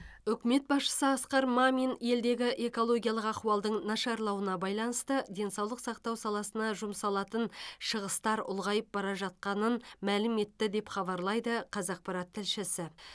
үкімет басшысы асқар мамин елдегі экологиялық ахуалдың нашарлауына байланысты денсаулық сақтау саласына жұмсалатын шығыстар ұлғайып бара жатқанын мәлім етті деп хабарлайды қазақпарат тілшісі